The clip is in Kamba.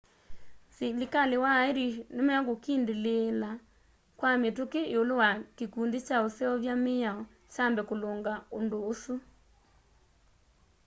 silikali wa ĩrĩsh nĩmekũkindĩlĩĩla kwa mituki iulu wa kĩkũndĩ kya ũseũvya mĩao kyambe kulunga undu ũsu